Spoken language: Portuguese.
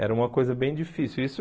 Era uma coisa bem difícil. Isso